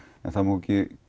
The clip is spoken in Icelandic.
en það má ekki